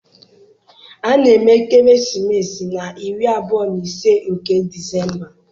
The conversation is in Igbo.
A na-eme ekeresimesi na iri abụọ na ise nke Disemba